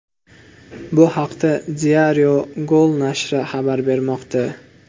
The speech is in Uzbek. Bu haqda Diario Gol nashri xabar bermoqda.